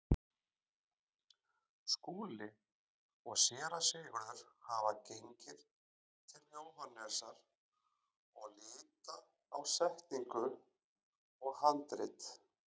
Skúli og Séra Sigurður hafa gengið til Jóhannesar og líta á setningu og handrit.